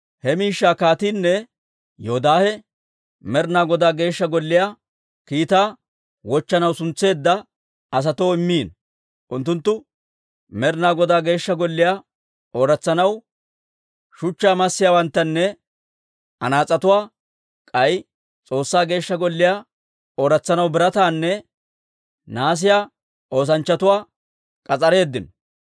He miishshaa kaatiinne Yoodaahe Med'inaa Godaa Geeshsha Golliyaa kiitaa wochchanaw suntsetteedda asatoo immiino. Unttunttu Med'inaa Godaa Geeshsha Golliyaa ooratsanaw shuchchaa massiyaawanttanne anaas'etuwaa, k'ay S'oossaa Geeshsha Golliyaa ooratsanaw birataanne nahaasiyaa oosanchchatuwaa k'as'areeddino.